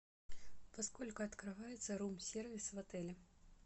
во сколько открывается рум сервис в отеле